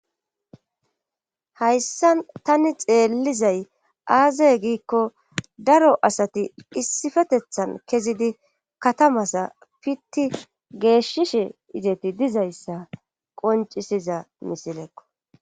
hayssa tani xeellizay aazay giikko daro asati issifetethan kezidi katamasa pitti geeshshishe izeti dizayssa qoncisiza misilekko